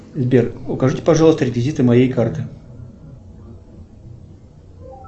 сбер укажите пожалуйста реквизиты моей карты